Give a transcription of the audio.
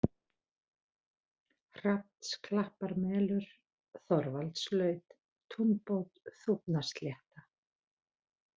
Hrafnsklapparmelur, Þorvaldslaut, Túnbót, Þúfnaslétta